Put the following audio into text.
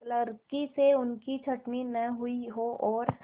क्लर्की से उनकी छँटनी न हुई हो और